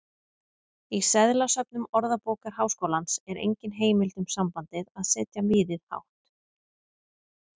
Í seðlasöfnum Orðabókar Háskólans er engin heimild um sambandið að setja miðið hátt.